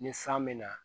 Ni san bɛ na